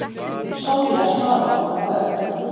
Sonja, Svavar og börn.